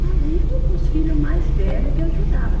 Sozinha e com os filho mais velho que ajudava.